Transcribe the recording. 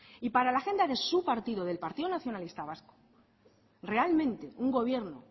y para la agenda de su partido del partido nacionalista vasco realmente un gobierno